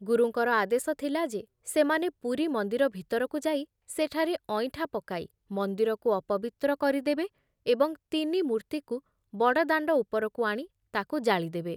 ଗୁରୁଙ୍କର ଆଦେଶ ଥିଲା ଯେ ସେମାନେ ପୁରୀ ମନ୍ଦିର ଭିତରକୁ ଯାଇ ସେଠାରେ ଅଇଁଠା ପକାଇ ମନ୍ଦିରକୁ ଅପବିତ୍ର କରିଦେବେ ଏବଂ ତିନି ମୂର୍ତ୍ତିକୁ ବଡ଼ଦାଣ୍ଡ ଉପରକୁ ଆଣି ତାକୁ ଜାଳିଦେବେ ।